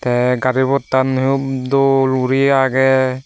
the gari pottan o dol guri age.